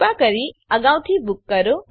કૃપા કરી અગાઉથી બૂક કરો